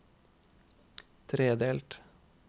tredelt